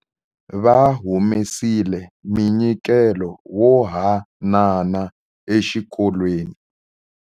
Va humesile munyikelo wo hanana exikolweni.